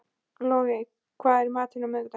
Logey, hvað er í matinn á miðvikudaginn?